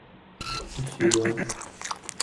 ищи да